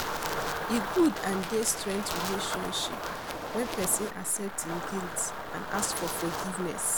E good and dey strength relationship when pesin accept im guilty and ask for forgiveness.